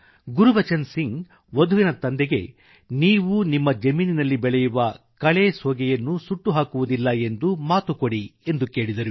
ಗುರ್ಬಚನ್ ಸಿಂಘ್ ವಧುವಿನ ತಂದೆಗೆ ನೀವು ನಿಮ್ಮ ಜಮೀನಿನಲ್ಲಿ ಬೆಳೆಯುವ ಕಳೆ ಸೋಗೆಯನ್ನು ಸುಟ್ಟುಹಾಕುವುದಿಲ್ಲ ಎಂದು ಮಾತುಕೊಡಿ ಎಂದು ಕೇಳಿದರು